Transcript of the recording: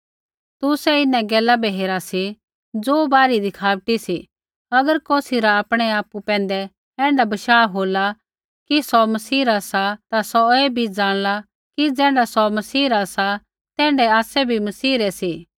तुसै इन्हां गैला बै हेरा सी ज़ो बाहरी दिखावटी सी अगर कौसी रा आपणै आपु पैंधै ऐण्ढा बशाह होला कि सौ मसीहा रा सा ता सौ ऐ भी जाँणला कि ज़ैण्ढा सौ मसीह रा सा तैण्ढै आसै बी मसीह रै सी